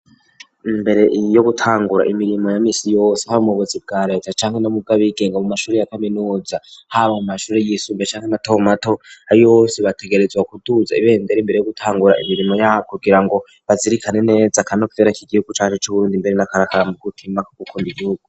Imbere yo gutangura imirimo ya misi yose, haba mu buzi bwa reta canke no mubwo abigenga, mu mashure ya kaminuza, haba mu mashure yisumbuye canke matomato, abo aribo bose bategerezwa kuduza ibendera imbere yo gutangura imirimo yabo kugirango bazirikane neza akanovera k'igihugu canje c'Uburundi, mbere n'aka nako ari akaranga k'umutima ko gukunda igihugu.